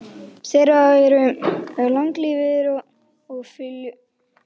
Þeir eru langlífir og fjölga sér hratt.